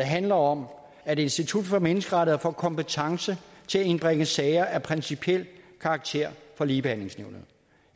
handler om at institut for menneskerettigheder får kompetence til at indbringe sager af principiel karakter for ligebehandlingsnævnet